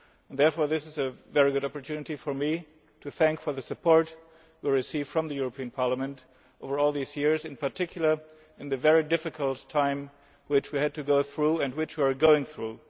Therefore this is a very good opportunity for me to thank you for the support we have received from the European Parliament over all these years, in particular in the very difficult time which we had to go through and which we are still going through.